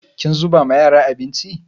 Kin zuba ma yara abinci?